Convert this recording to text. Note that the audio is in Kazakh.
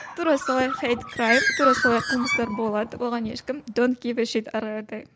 тура солай хейт крайм тура солай қылмыстар болады оған ешкім ары қаратай